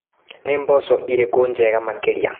Nĩ mboco irĩkũ njega makĩria.